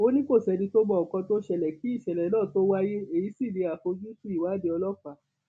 ó ní kò sẹni tó mọ nǹkan tó ṣẹlẹ kí ìṣẹlẹ náà tóó wáyé èyí sí ní àfojúsùn ìwádìí ọlọpàá